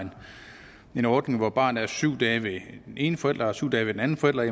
en ordning hvor barnet er syv dage ved den ene forælder og syv dage ved den anden forælder